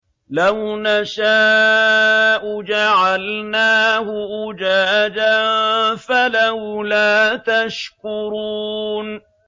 لَوْ نَشَاءُ جَعَلْنَاهُ أُجَاجًا فَلَوْلَا تَشْكُرُونَ